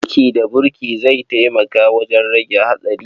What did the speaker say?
Aiki da burki zai taimaka wajen rage haɗari.